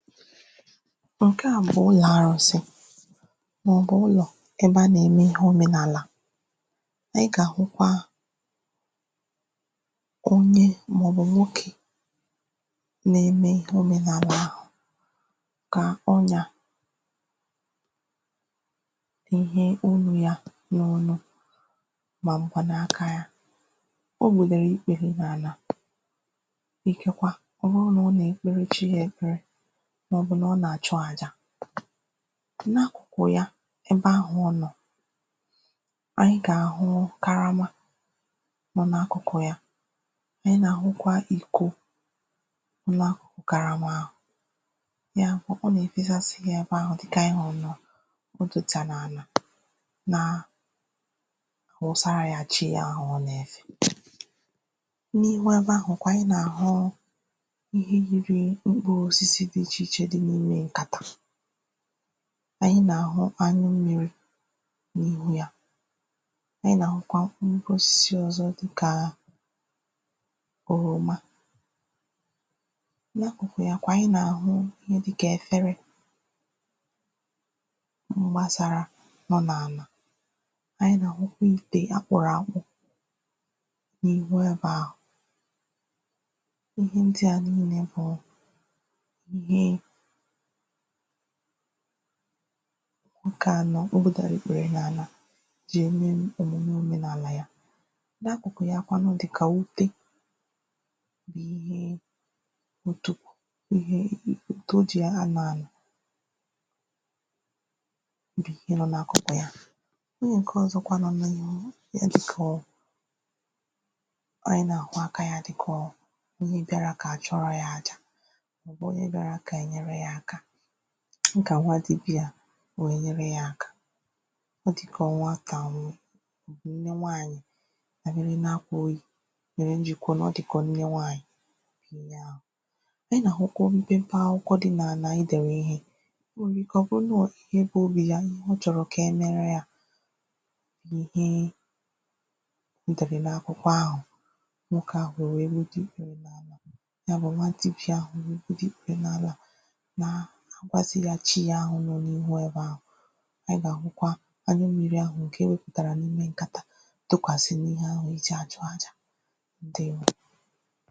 ǹke a bụ̀ ụlọ̀ arụ̄sị màọbụ̀ ụlọ̀ ebe a nà-ème ihe òmenàlà ànyị gà-àhụkwa onye màọbụ̀ nwokē na-eme ihe òmenàlà ahụ̀ kà ọ nà èhe onū ya n’onu màọbụkwà n’aka yā o gbùdèrè ikpère n’àlà ike kwa ọ̀ bụrụ nà ọ nà-èkpere chi ya èkpere màọbụ̀ na ọ nà-àchụ àjà na kụ̀ ya ebe ahụ̀ ọ nọ̀ ànyị gà-àhụ karama nọ n’akụ̀kụ̀ ya ànyị nà-àhụkwa iko nà karama ya bụ̀ ọ nà-èfesasi ya ebe ahụ̀ dịkà antị hùrù nà bottle tà n’ànà na àwụsara ya chi ya ahụ̀ ọ nà-efè n’ihu ebe ahụ̀kwa anyị nà-àhụ ihe yiri mkpuru osisi di n’ime ǹkàtà anyị nà-àhụ anụ mmịrị̄ n’ihu yā anyị nà-àhụkwa nnukwu osisi ọ̀zọ dịkà òròma n’akụ̀kụ̀ ya kwa anyị nà-àhụ ihe dịkà efere m̀gbasara nọ n’àlà anyị nà-àhụkwa ìtè a kpụ̀rụ̀ àkpụ n’ihu ebē ahụ̀ ihe ndị a niilē bụ ihe nwokē nọ ọ gbūdara ikpèrè n’àlà jì ème òmume òmenàlà ya n’akụ̀kụ̀ ya kwanụ dị̀kà ute bụ̀ ihe ntụpụ̀ ihe ute o jì anọ̄ àlà bì ị nọ̄ n’akụ̀kụ̀ ya ihe ǹke ọ̀zọkwa nọ n’ihu ihe ejī so anyị nà-àhụ aka ya dịkà ọ ihe bịara kà achụọra yā àjà bụ onye bịara kà anyị nyere yā aka nkà nwa dịbịa à wee nyere yā aka ọ dị̄kà ọnwa atàwụ bụ nne nwaanyị̀ ọ̀mụ̄nịma akwụ̄rị mèrè m jì kwuo nàọ dịkà ọ nne nwaanyị̀ ị nà-àhụkwa mpempe akwụkwọ di n’àlà e dèrè ihe ọ nwere ike ọ̀ bụrụ na ọ ihe ka obì ya ihe ọ chọ̀rọ̀ kà emere yā na ihe o dèrè n’akwụkọ ahụ̀ nwokē ahụ̀ wee wete ikē ya bụ̀ na ntịpịa ahụ̀ dị dị n’àlà na ọzịghàchi yā ahụ̀ nọ n’ihu ebe ahụ̀ a gà-àhụkwa anụ mmịrị ahụ̀ ǹke e wēpụtàrà n’ime ǹkàtà tụkwàsị n’ihe ahụ̀ ejì àchụ àjà ǹdewo